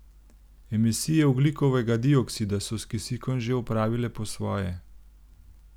Emisije ogljikovega dioksida so s kisikom že opravile po svoje.